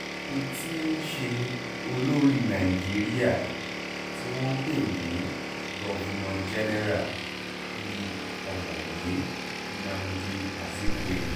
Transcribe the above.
ẹni tí í ṣe olórí nàìjíríà tí wọ́n ń pè ní governor general ni ọ̀mọ̀wé nnamdi azikiwe